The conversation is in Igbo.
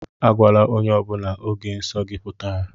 Agwala ónyé ọbula ógè nsọ gị pụtara!